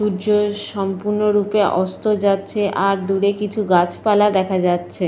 সূর্যের সম্পূর্ণ রূপে অস্ত যাচ্ছে। আর দূরে কিছু গাছপালা দেখা যাচ্ছে।